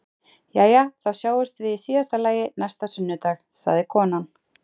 Jæja, þá sjáumst við í síðasta lagi næsta sunnudag, sagði konan.